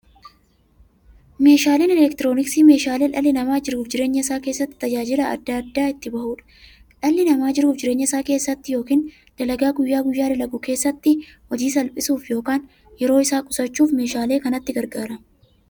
Meeshaaleen elektirooniksii meeshaalee dhalli namaa jiruuf jireenya isaa keessatti, tajaajila adda addaa itti bahuudha. Dhalli namaa jiruuf jireenya isaa keessatti yookiin dalagaa guyyaa guyyaan dalagu keessatti, hojii isaa salphisuuf yookiin yeroo isaa qusachuuf meeshaalee kanatti gargaarama.